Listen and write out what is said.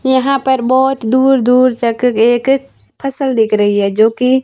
यहां पर बहुत दूर दूर तक एक फसल दिख रही है जो कि--